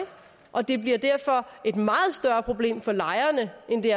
og det bliver derfor et meget større problem for lejerne end det